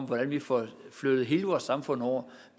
hvordan vi får flyttet hele vores samfund over